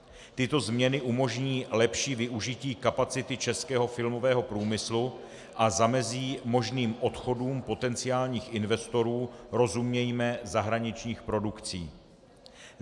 Tyto změny umožní lepší využití kapacity českého filmového průmyslu a zamezí možným odchodům potenciálních investorů, rozumějme zahraničních produkcí.